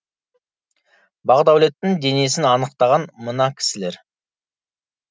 бақдәулеттің денесін анықтаған мына кісілер